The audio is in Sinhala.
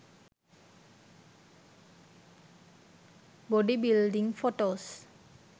body building photos